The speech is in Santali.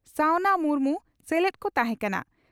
ᱥᱟᱣᱱᱟ ᱢᱩᱨᱢᱩ ᱥᱮᱞᱮᱫ ᱠᱚ ᱛᱟᱦᱮᱸ ᱠᱟᱱᱟ ᱾